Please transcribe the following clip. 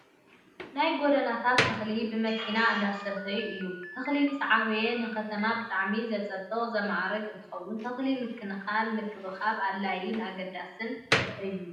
ናይ ጎደናታት ተክሊ ብመኪና እንዳስተዩ እዩ። ተክሊ ምስ ዓበየ ንከተማ ብጣዕሚ ዘፀብቅን ዘማዕርግን እንትከውን፣ ተክሊ ምክንካንን ምክብካብን ኣድላይን ኣገዳስን እዩ።